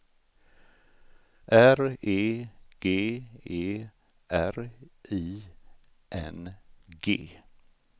R E G E R I N G